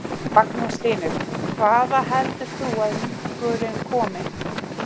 Magnús Hlynur: Hvaða heldur þú að minkurinn komi?